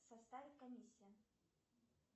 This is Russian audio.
составит комиссия